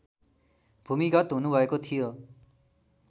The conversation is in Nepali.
भूमिगत हुनुभएको थियो